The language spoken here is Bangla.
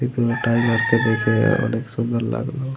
এতো টাইগার কে দেখে অনেক সুন্দর লাগলো ।